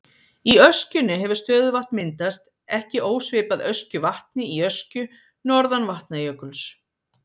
Í öskjunni hefur stöðuvatn myndast, ekki ósvipað Öskjuvatni í Öskju norðan Vatnajökuls.